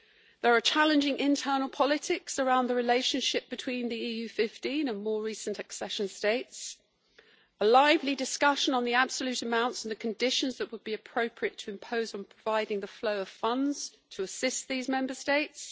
There are challenging internal politics around the relationship between the EU 15 and more recent accession states, with a lively discussion on the absolute amounts and on the conditions that would be appropriate to impose in providing the flow of funds to assist these Member States.